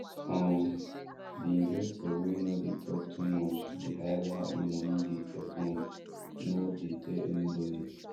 um the investor wey no dey talk too much dey hide how e money dey perform no dey tell anybody